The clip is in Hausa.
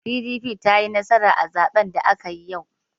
PDP ta yi nasara a zaben da aka yi yau.